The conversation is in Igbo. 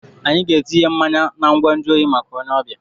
Anyị ga-etinye mmanya na ngwa nju oyi maka onye ọbịa.